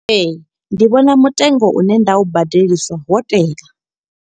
Ee, ndi vhona mutengo une nda u badeliswa wo tea.